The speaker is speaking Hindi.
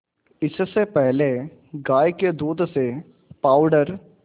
इससे पहले गाय के दूध से पावडर